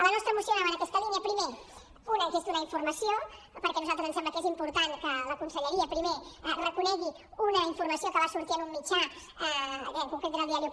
la nostra moció anava en aquesta línia primer una que és donar informació perquè a nosaltres ens sembla que és important que la conselleria primer reconegui una informació que va sortir en un mitjà que en concret era el diario